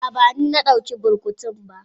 Aa bani na dauka burkutun ba.